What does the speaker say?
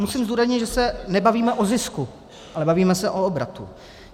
Musím zdůraznit, že se nebavíme o zisku, ale bavíme se o obratu.